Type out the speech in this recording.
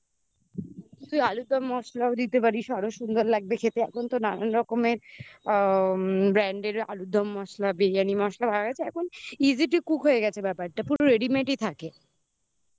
তুই আলুরদম মসলাও দিতে পারিস আরও সুন্দর লাগবে খেতে এখন তো নানান রকমের আ brand এর আলুরদম মশলা বিরিয়ানি মসলা বার হয়ে গেছে এখন easy to cook হয়ে গেছে ব্যাপারটা পুরো readymade ই থাকে